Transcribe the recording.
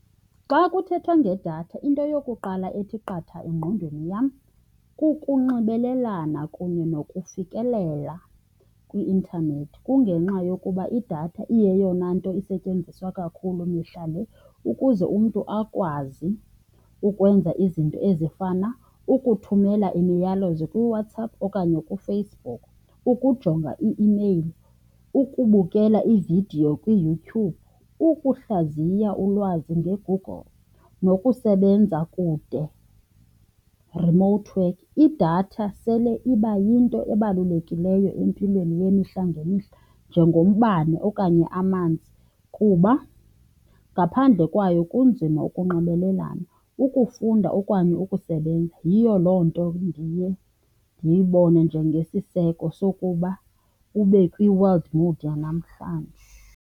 Xa kuthethwa ngedatha into yokuqala ethi qatha engqondweni yam kukunxibelelana kunye nokufikelela kwi-intanethi. Kungenxa yokuba idatha iyeyona nto isetyenziswa kakhulu mihla le ukuze umntu akwazi ukwenza izinto ezifana ukuthumela imiyalezo kuWhatsApp okanye kuFacebook, ukujonga i-imeyili, ukubukela iividiyo kwiYouTube, ukuhlaziya ulwazi ngeGoogle nokusebenza kude, remote work. Idatha sele iba yinto ebalulekileyo empilweni yemihla ngemihla njengombane okanye amanzi kuba ngaphandle kwayo kunzima ukunxibelelana, ukufunda okanye ukusebenza. Yiyo loo nto ndiye ndiyibone njengesiseko sokuba ube kwi-world mode yanamhlanje.